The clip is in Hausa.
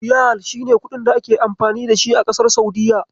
Riyal shi ne kuɗin da ake amfani dashi a kasar Saudiyya.